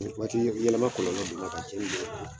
Waati yɛlɛma kɔnɔlɔ donna ka cɛnni